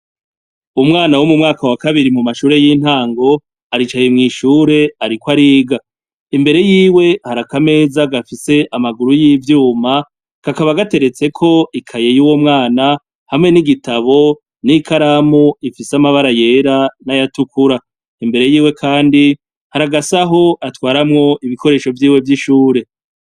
Umwana wo mumwaka w'akabiri mumashure y'intango aricaye mwishure ariko ariga imbere yiwe hari akameza gafise amaguru y'ivyuma kakaba gateretseko ikaye y'uwo mwana hamwe n'igitabo n'ikaramu ifise amabara yera n'ayatukura, imbere yiwe kandi hari agasahu atwaramwo ibibikoresho vyiwe vyishure.